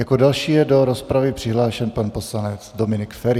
Jako další je do rozpravy přihlášen pan poslanec Dominik Feri.